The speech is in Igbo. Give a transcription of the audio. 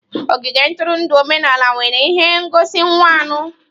Ogige ntụrụndụ omenala nwere ihe ngosi mmawụ.